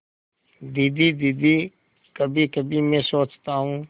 दीदी दीदी कभीकभी मैं सोचता हूँ